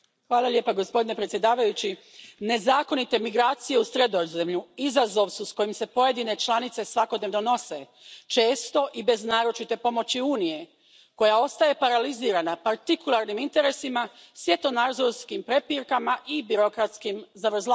Poštovani predsjedavajući, nezakonite migracije u Sredozemlju izazov su s kojim se pojedine članice svakodnevno nose, često i bez naročite pomoći Unije koja ostaje paralizirana partikularnim interesima, svjetonazorskim prepirkama i birokratskim zavrzlamama.